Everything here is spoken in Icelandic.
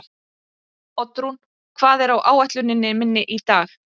Oddrún, hvað er á áætluninni minni í dag?